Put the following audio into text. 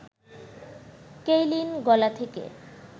Kaylin গলা থেকে